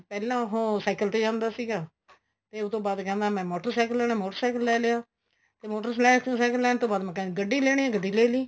ਪਹਿਲਾਂ ਉਹ cycle ਤੇ ਜਾਂਦਾ ਸੀਗਾ ਤੇ ਉਤੋ ਬਾਅਦ ਕਹਿੰਦਾ ਮੈਂ motor cycle ਲੈਣਾ motor cycle ਲੈ ਲਿਆ ਤੇ motor cycle ਲੈਣ ਤੋਂ ਬਾਅਦ ਮੈਂ ਗੱਡੀ ਲੈਣੀ ਏ ਗੱਡੀ ਲੈ ਲਈ